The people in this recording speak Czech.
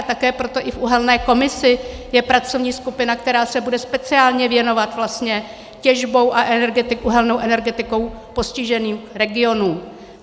A také proto i v uhelné komisi je pracovní skupina, která se bude speciálně věnovat těžbou a uhelnou energetikou postiženým regionům.